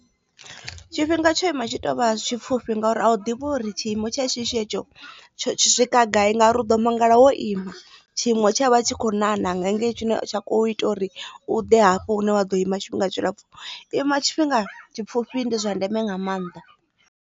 Tshifhinga tsho ima tshi tou vha tshipfufhi ngauri a u ḓivha uri tshiimo tsha shishi hetsho tsho swika gai ngauri a u ḓo mangala wo ima tshinwe tsha vha tshi kho na na nga hengei tshine tsha kho ita uri u ḓe hafho hune wa ḓo ima tshifhinga tshilapfhu ima tshifhinga tshipfhufhi ndi zwa ndeme nga maanḓa.